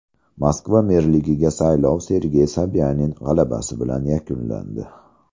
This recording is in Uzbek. Moskva merligiga saylov Sergey Sobyanin g‘alabasi bilan yakunlandi.